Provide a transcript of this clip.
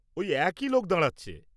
ওই একই লোক দাঁড়াচ্ছে।